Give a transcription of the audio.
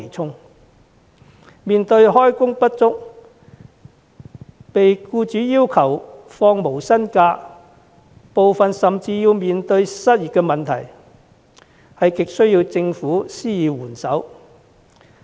他們不但開工不足、被僱主要求放取無薪假，部分甚至面對失業問題，亟需政府施以援手。